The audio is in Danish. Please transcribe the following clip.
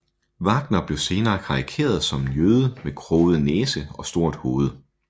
Wagner blev senere karikeret som en jøde med kroget næse og stort hoved